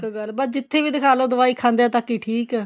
ਬੱਸ ਜਿੱਥੇ ਵੀ ਦਿਖਾਲੋ ਦਵਾਈ ਖਾਂਦੇ ਤੱਕ ਠੀਕ ਹੈ